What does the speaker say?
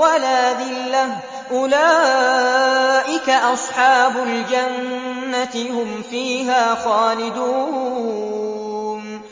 وَلَا ذِلَّةٌ ۚ أُولَٰئِكَ أَصْحَابُ الْجَنَّةِ ۖ هُمْ فِيهَا خَالِدُونَ